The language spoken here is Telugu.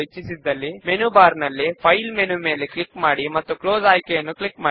లేదా వివిధ మెంబర్ నేమ్స్ పైన సింపుల్ గా క్లిక్ చేయడము ద్వారా కూడా చేయవచ్చు